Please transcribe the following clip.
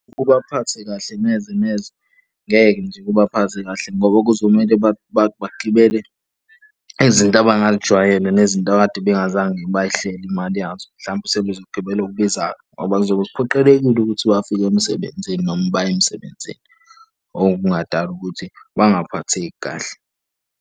Kubaphathi kahle neze neze, ngeke nje kubaphathe kahle ngoba kuzomele bagibele izinto abangayijwayele nezinto akade bengazange bay'hleli imali yazo. Mhlampe sebezo gibela okubizayo ngoba kuzobe kuphoqelekile ukuthi bafike emsebenzini noma baye emsebenzini, okungadala ukuthi bangaphatheki kahle.